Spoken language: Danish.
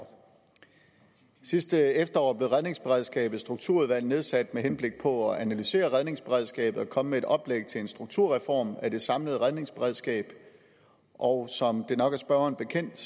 sidste efterår blev redningsberedskabets strukturudvalg nedsat med henblik på at analysere redningsberedskabet og komme med et oplæg til en strukturreform af det samlede redningsberedskab og som det nok er spørgeren bekendt